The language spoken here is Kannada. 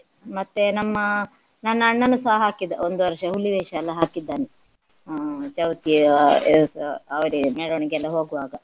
ಮತ್ತೆ ನಮ್ಮ ನನ್ನ ಅಣ್ಣನುಸ ಹಾಕಿದ ಒಂದು ವರ್ಷ ಹುಲಿವೇಷ ಎಲ್ಲಾ ಹಾಕಿದ್ದಾನೆ. ಅಹ್ ಚೌತಿಯ ದಿವಸ ಅವರೇ ಮೆರವಣಿಗೆಲ್ಲ ಹೋಗುವಾಗ